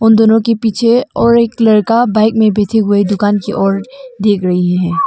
दोनों के पीछे और एक लड़का बाइक में बैठे हुए दुकान की ओर देख रही हैं।